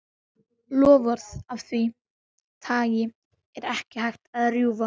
Loforð af því tagi er ekki hægt að rjúfa.